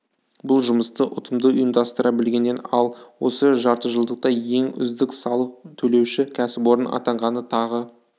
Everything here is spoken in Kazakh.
бұл жұмысты ұтымды ұйымдастыра білгеннен ал осы жартыжылдықта ең үздік салық төлеуші кәсіпорын атанғаны тағы